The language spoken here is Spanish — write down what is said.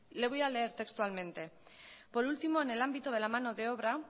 le voy a leer textualmente por último en el ámbito de la mano de obra